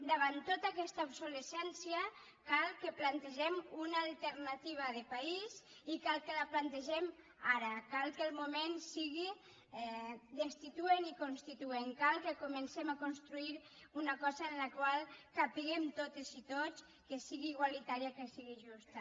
davant tota aquesta obsolescència cal que plantegem una alternativa de país i cal que la plantegem ara cal que el moment sigui destituent i constituent cal que comencem a construir una cosa en la qual capiguem totes i tots que sigui igualitària que sigui justa